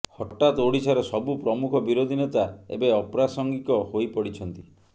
ହଠାତ ଓଡିଶାର ସବୁ ପ୍ରମୁଖ ବିରୋଧୀ ନେତା ଏବେ ଅପ୍ରାସଙ୍ଗିକ ହୋଇପଡିଛନ୍ତି